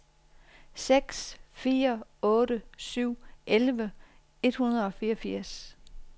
seks fire otte syv elleve et hundrede og fireogfirs